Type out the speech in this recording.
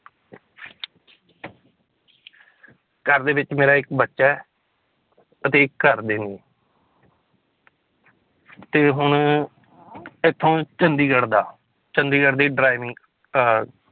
ਘਰ ਦੇ ਵਿੱਚ ਮੇਰਾ ਇੱਕ ਬੱਚਾ ਹੈ ਅਤੇ ਇੱਕ ਘਰਦੇ ਨੇ ਤੇ ਹੁਣ ਇੱਥੋਂ ਚੰਡੀਗੜ੍ਹ ਦਾ ਚੰਡੀਗੜ੍ਹ ਦੀ driving ਅਹ